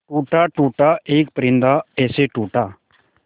टूटा टूटा एक परिंदा ऐसे टूटा